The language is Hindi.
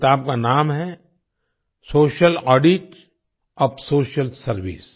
किताब का नाम है social audit of social service social audit of social service